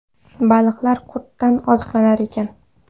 Baliqlar qurtdan oziqlanar ekan.